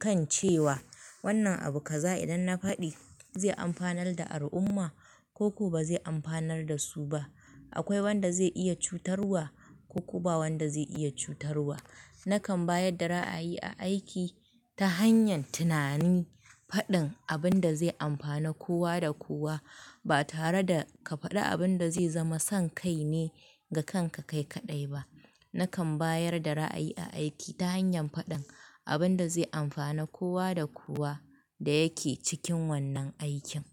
kan cewa, wannan abu ka za idan na faɗi, zai amfanar da al'umma koku ba zai amfanar da su ba? Akwai wanda zai iya cutarwa Koku ba wanda zai iya cutarwa? Nakan bayar da ra'ayi a aiki, ta hanyar tunani, faɗin abin da zai amfana kowa da kowa, ba tare da ka faɗi abin da zai zama son kai ne, ga kanka kai kaɗai ba. Nakan bayar da ra'ayi a aiki ta hanyar faɗin abin da zai amfana kowa da kowa da yake cikin wannan aikin.